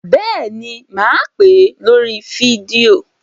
Bẹ́ẹ̀ ni, mà á pè é lórí fídíò.